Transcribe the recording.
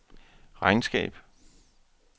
regnskab